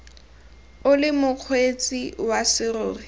o le mokgweetsi wa serori